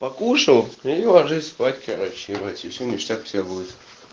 покушал иди ложись спать короче ебать и все ништяк у тебя будет